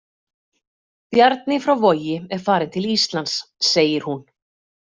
Bjarni frá Vogi er farinn til Íslands, segir hún.